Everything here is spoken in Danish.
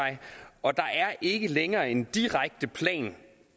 og der er ikke længere en direkte plan